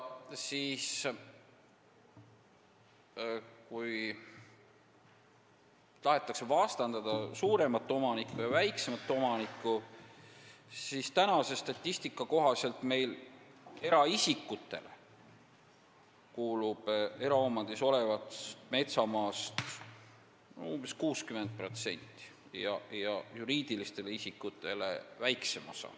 Kui tahetakse vastandada suuremat ja väiksemat omanikku, siis infoks, et praeguse statistika kohaselt kuulub meil eraomandis olevast metsamaast umbes 60% eraisikutele ja väiksem osa juriidilistele isikutele.